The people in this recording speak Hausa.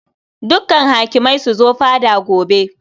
Dukkan hakimai su zo fada gobe.